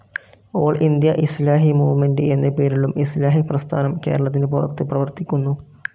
All India Islahi movement എന്നപേരിലും Islahi പ്രസ്ഥാനം കേരളത്തിന് പുറത്തു പ്രവർത്തിക്കുന്നു.